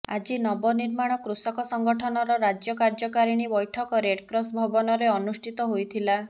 ଆଜି ନବନିର୍ମାଣ କୃଷକ ସଂଗଠନର ରାଜ୍ୟ କାର୍ଯ୍ୟକାରିଣୀ ବୈଠକ ରେଡକ୍ରସ୍ ଭବନରେ ଅନୁଷ୍ଠିତ ହୋଇଥିଲା